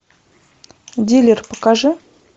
дилер покажи